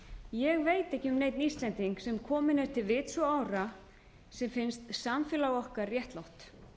ég veit ekki um neinn íslending sem kominn er til vits og ára sem finnst samfélag okkar réttlátt